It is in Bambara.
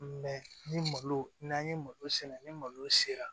ni malo n'an ye malo sɛnɛ ni malo sera